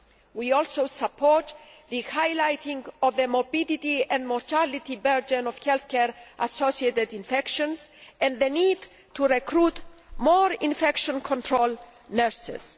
We also support the highlighting of the morbidity and mortality burden of health care associated infections and the need to recruit more infection control nurses.